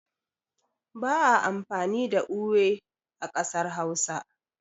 ba a amfani da ewe a kasar Hausa